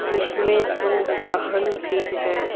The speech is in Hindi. इसमें दो वाहन भी हैं।